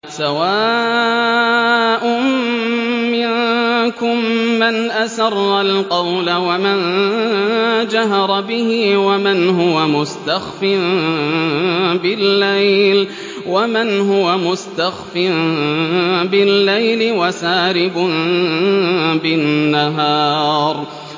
سَوَاءٌ مِّنكُم مَّنْ أَسَرَّ الْقَوْلَ وَمَن جَهَرَ بِهِ وَمَنْ هُوَ مُسْتَخْفٍ بِاللَّيْلِ وَسَارِبٌ بِالنَّهَارِ